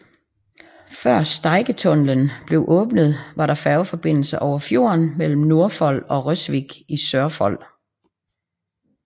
Før Steigentunnelen blev åbnet var der færgeforbindelse over fjorden mellem Nordfold og Røsvik i Sørfold